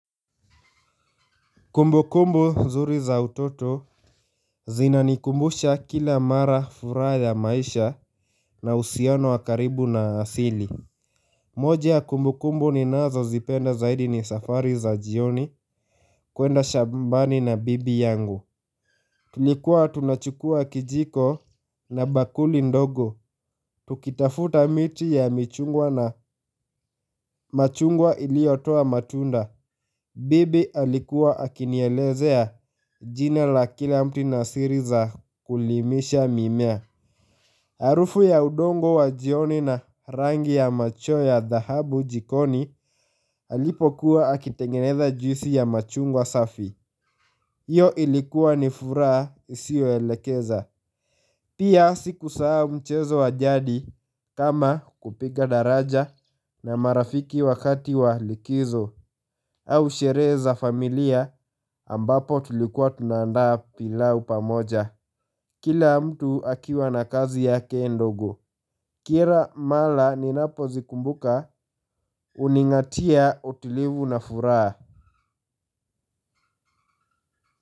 Kumbukumbu nzuri za utoto zinanikumbusha kila mara furaha ya maisha na uhusiano wa karibu na asili. Moja ya kumbukumbu ninazozipenda zaidi ni safari za jioni kuenda shambani na bibi yangu. Tulikuwa tunachukuwa kijiko na bakuli ndogo. Tukitafuta miti ya michungwa na machungwa iliyotoa matunda. Bibi alikuwa akinielezea jina la kila mti na siri za kulimisha mimea. Harufu ya udongo wa jioni na rangi ya macho ya dhahabu jikoni alipokuwa akitengeneza juisi ya machungwa safi. Hiyo ilikuwa ni furaha isiyoelekeza. Pia sikusahau mchezo wa jadi kama kupiga daraja na marafiki wakati wa likizo au sherehe za familia ambapo tulikuwa tunaandaa pilau pamoja. Kila mtu akiwa na kazi yake ndogo. Kira mala ninapozikumbuka huning'atia utulivu na furaha.